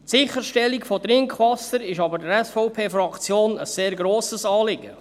Die Sicherstellung von Trinkwasser ist aber der SVP-Fraktion ein sehr grosses Anliegen.